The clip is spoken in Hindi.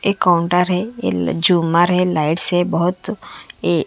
एक कांउटर हे ए झूमर हे लाइट्स हे बहुत ए--